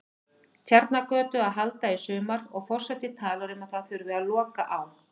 Tjarnargötu að halda í sumar, og forseti talar um að það þurfi að loka á